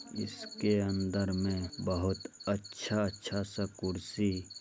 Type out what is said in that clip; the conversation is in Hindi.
इसके अंदर में बहोत अच्छा-अच्छा सा कुर्सी --